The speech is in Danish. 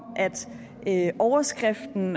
overskriften